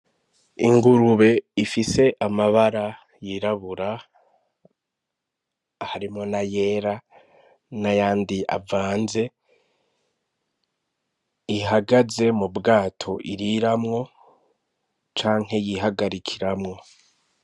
Ingurube ifise amabara yirabura harimwo n' ayera n' ayandi avanze ihagaze mu bwato iriramwo canke yihagarikiramwo.